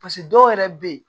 dɔw yɛrɛ bɛ yen